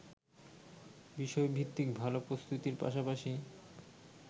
বিষয়ভিত্তিক ভালো প্রস্তুতির পাশাপাশি